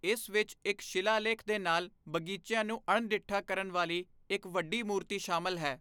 ਇਸ ਵਿੱਚ ਇੱਕ ਸ਼ਿਲਾਲੇਖ ਦੇ ਨਾਲ ਬਗੀਚਿਆਂ ਨੂੰ ਅਣਡਿੱਠਾ ਕਰਨ ਵਾਲੀ ਇੱਕ ਵੱਡੀ ਮੂਰਤੀ ਸ਼ਾਮਲ ਹੈ।